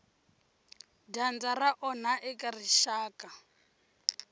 dyandza ra onha eka rixaka